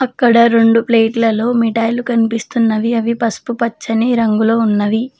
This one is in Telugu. అక్కడ రెండు ప్లేట్లలో మిఠాయిలు కనిపిస్తున్నవి అవి పసుపు పచ్చనీ రంగులో ఉన్నవి.